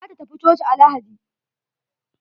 Za ta tafi coci a lahadi.